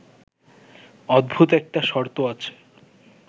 অদ্ভুত একটা শর্ত আছে